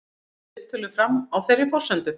Fóru viðtölin fram á þeirri forsendu